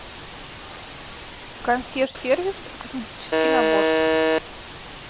консьерж сервис косметический набор